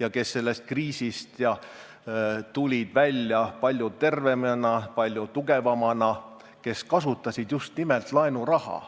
ja kes sellest kriisist tulid välja palju tervemana, palju tugevamana, kes kasutasid just nimelt laenuraha.